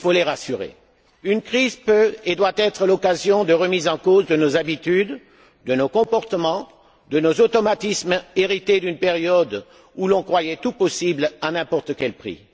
rassurer, peut et doit être l'occasion de remise en cause de nos habitudes, de nos comportements, de nos automatismes hérités d'une période où l'on croyait tout possible à n'importe quel prix.